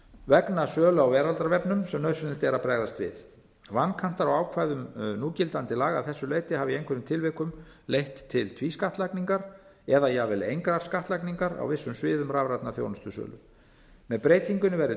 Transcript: vegna sölu á veraldarvefnum sem nauðsynlegt er að bregðast við vankantar á ákvæðum núgildandi laga að þessu leyti hafa í einhverjum tilvikum leitt til tvískattlagningar eða jafnvel engrar skattlagningar á vissum sviðum rafrænnar þjónustusölu með breytingunni verður